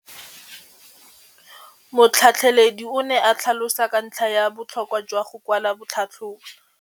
Motlhatlheledi o ne a tlhalosa ka ntlha ya botlhokwa jwa go kwala tlhatlhôbô.